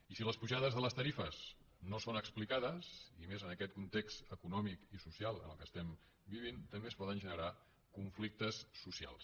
i si les pujades de les tarifes no són explicades i més en aquest context econòmic i social en què vivim també es poden generar conflictes socials